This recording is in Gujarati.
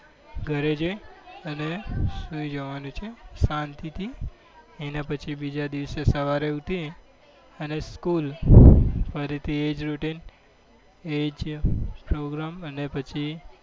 ઘરે જઈને સૂઈ જવાનું છે શાંતિથી એના પછી બીજા દિવસે સવારે ઉઠી અને school ફરીથી એ જ routine એ જ program અને પછી